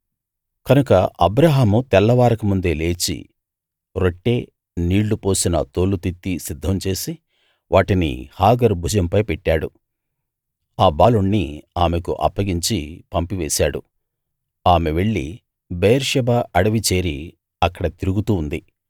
కనుక అబ్రాహాము తెల్లవారకముందే లేచి రొట్టె నీళ్ళు పోసిన తోలు తిత్తి సిద్ధం చేసి వాటిని హాగరు భుజంపై పెట్టాడు ఆ బాలుణ్ణి ఆమెకు అప్పగించి పంపివేశాడు ఆమె వెళ్ళి బెయేర్షెబా అడవికి చేరి అక్కడ తిరుగుతూ ఉంది